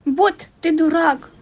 вот ты дурак